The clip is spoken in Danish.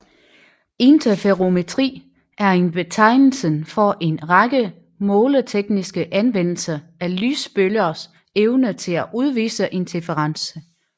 Interferometri er betegnelsen for en række måletekniske anvendelser af lysbølgers evne til at udvise interferens